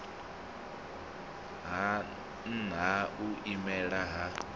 ha nha u imelela ha